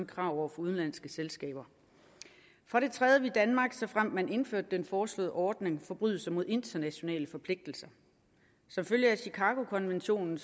krav over for udenlandske selskaber for det tredje vil danmark såfremt man indførte den foreslåede ordning forbryde sig mod internationale forpligtelser som følge af chicagokonventionen